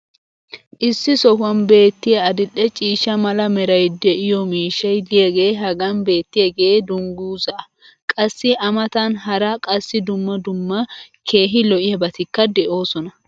issi sohuwan beetiya adil'e ciishsha mala meray de'iyo miishshay diyaagee hagan beetiyaagee danguzzaa. qassi a matan hara qassi dumma dumma keehi lo'iyaabatikka de'oosona.